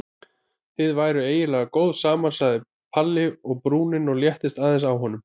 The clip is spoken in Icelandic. Þið væruð eiginlega góð saman sagði Palli og brúnin léttist aðeins á honum.